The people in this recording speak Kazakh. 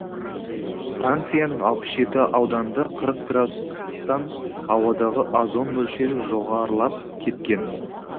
францияның алпыс жеті ауданында қыпық градус ыстықтан ауадағы озон мөлшері жоғарылап кеткен